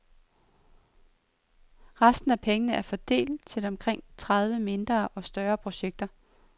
Resten af pengene er fordelt til omkring tredive mindre og større projekter.